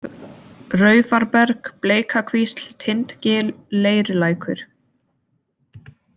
Raufarberg, Bleikakvísl, Tindgil, Leirulækur